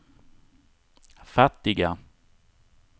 fattiga